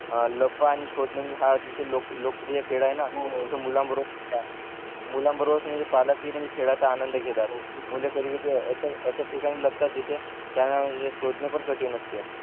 लपन आणि शोधणे म्हणजे हा अतिशय लोक लोकप्रिय खेळ आहेत न मुलांबरोबरच म्हणजे पालक हि म्हणजे खेळाचा आनंद घेतात मुल कधी कधी अश्या अश्या ठिकाणी लपतात जिथे त्यांना शोधणे पण कठीण असते